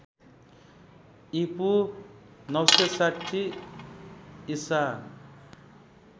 ईपू ९६० ईसा